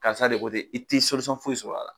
Karisa de ko tɛ i t'ɛ foyi sɔr'a la.